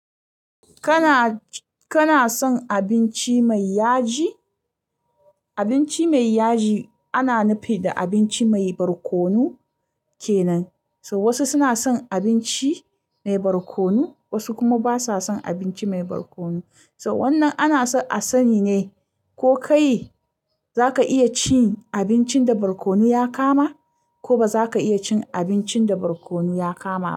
Kana, kana son abinci mai yaji? Abinci mai yaji ana nufi da abinci mai barkonu kenan. So wasu suna son abinci mai barkonu, wasu kuma basa son abinci mai barkonu. So wannan ana son a sani ne ko kai za ka iya cin abincin da barkonu ya kama, ko ba za ka iya cin abincin da barkonu ya kama.